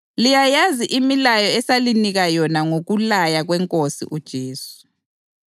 Liyayazi imilayo esalinika yona ngokulaya kweNkosi uJesu.